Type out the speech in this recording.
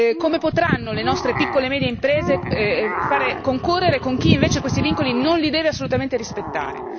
Come potranno le nostre piccole e medie imprese concorrere con chi invece questi vincoli non li deve assolutamente rispettare?